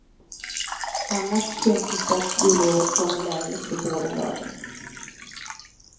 Annars syntes det att jullovet kommer lägligt för båda lagen.